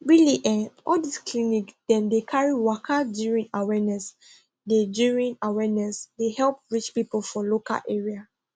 really eh all this clinic dem dey carry waka during awareness dey during awareness dey help reach people for local area